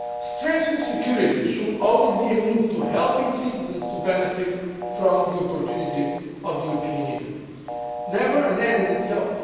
Strengthening security should always be a means of helping citizens to benefit from the opportunities of the European Union, never an end in itself.